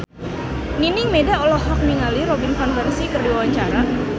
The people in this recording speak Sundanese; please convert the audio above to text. Nining Meida olohok ningali Robin Van Persie keur diwawancara